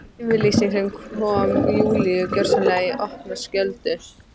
Yfirlýsing sem kom Júlíu gjörsamlega í opna skjöldu.